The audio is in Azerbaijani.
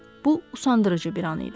Bu usandırıcı bir an idi.